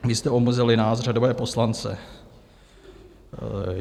Vy jste omezili nás řadové poslance.